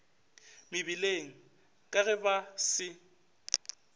mebileng ka ge ba se